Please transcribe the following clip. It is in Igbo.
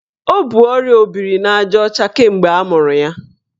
O bu ọrịa obirinajaọcha kemgbe amụrụ ya.